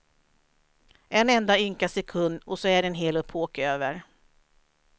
En enda ynka sekund och så är en hel epok över.